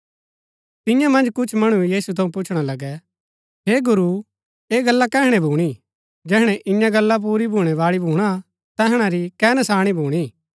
तियां मन्ज कुछ मणु यीशु थऊँ पुछणा लगै हे गुरू ऐह गल्ला कैहणै भूणी जैहणै ईयां गल्ला पुरी भूणैबाळी भूणा तैहणा री कै नशाणी भूणी